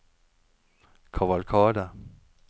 kavalkade